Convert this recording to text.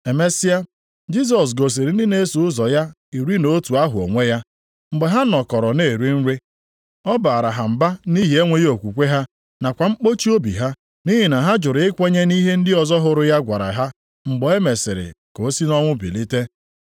Emesịa, Jisọs gosiri ndị na-eso ụzọ ya iri na otu ahụ onwe ya, mgbe ha nọkọrọ na-eri nri. Ọ baara ha mba nʼihi enweghị okwukwe ha nakwa mkpọchi obi ha, nʼihi na ha jụrụ ikwenye nʼihe ndị ọzọ hụrụ ya gwara ha mgbe e mesịrị ka ọ si nʼọnwụ bilite.